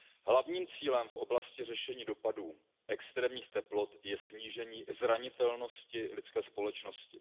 Hlavním cílem v oblasti řešení dopadů extrémních teplot je snížení zranitelnosti lidské společnosti.